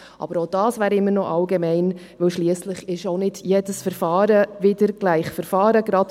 Doch auch dies wäre immer noch allgemein, weil schliesslich nicht jedes Verfahren gleich Verfahren ist.